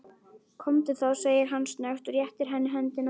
Komdu þá, segir hann snöggt og réttir henni höndina.